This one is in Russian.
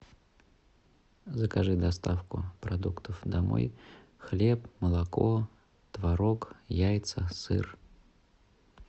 закажи доставку продуктов домой хлеб молоко творог яйца сыр